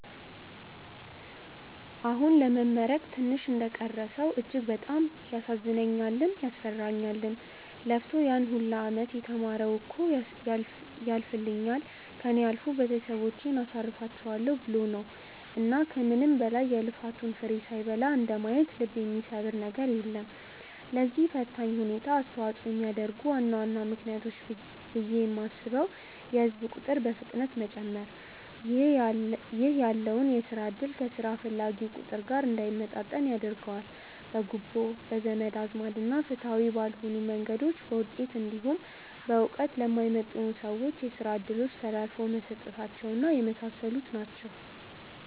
አሁን ለመመረቅ ትንሽ እንደቀረው ሰው እጅግ በጣም ያሳዝነኛልም፤ ያስፈራኛልም። ለፍቶ ያን ሁላ አመት የተማረው እኮ ያልፍልኛል፣ ከእኔ አልፎ ቤተሰቦቼን አሳርፋቸዋለው ብሎ ነው። እና ከምንም በላይ የልፋቱን ፍሬ ሳይበላ እንደማየት ልብ የሚሰብር ነገር የለም። ለዚህ ፈታኝ ሁኔታ አስተዋጽኦ የሚያደርጉ ዋና ዋና ምክንያቶች ብዬ የማስበው የህዝብ ቁጥር በፍጥነት መጨመር ( ይህ ያለውን የስራ እድል ከስራ ፈላጊው ቁጥር ጋር እንዳይመጣጠን ያደርገዋል።) ፣ በጉቦ፣ በዘመድ አዝማድ እና ፍትሃዊ ባልሆኑ መንገዶች በውጤት እንዲሁም በእውቀት ለማይመጥኑ ሰዎች የስራ እድሎች ተላልፈው መሰጠታቸው እና የመሳሰሉት ናቸው።